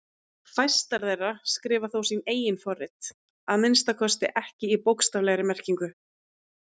Fæstar þeirra skrifa þó sín eigin forrit, að minnsta kosti ekki í bókstaflegri merkingu.